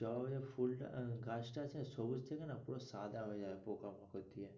জবার যে ফুল টা গাছটা আছে সবুজ না পুরো সাদা হয়ে যাবে পোকা-মাকড় দিয়ে।